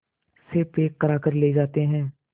से पैक कराकर ले जाते हैं